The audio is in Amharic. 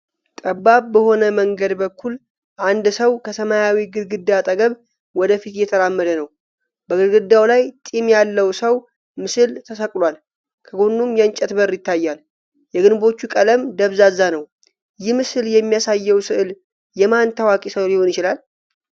ጠባብ በሆነ መንገድ በኩል አንድ ሰው ከሰማያዊ ግድግዳ አጠገብ ወደ ፊት እየተራመደ ነው። በግድግዳው ላይ ጢም ያለው ሰው ምስል ተሰቅሏል፤ ከጎኑም የእንጨት በር ይታያል። የግንቦቹ ቀለም ደብዛዛ ነው። ይህ ምስል የሚያሳየው ሥዕል የማን ታዋቂ ሰው ሊሆን ይችላል?